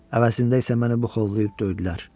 Əvəzində isə məni buxovlayıb döydülər.